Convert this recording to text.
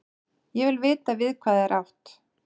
Ég vil vita við hvað er átt.